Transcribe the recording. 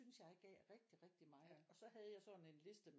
Synes jeg gav rigtig rigtig meget og så havde jeg sådan en liste